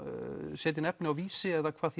setja inn efni á Vísi eða hvað